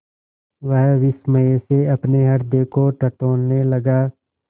वह विस्मय से अपने हृदय को टटोलने लगा